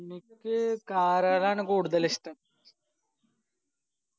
എനിക്ക് car കളാണ് കൂടുതൽ ഇഷ്ട്ടം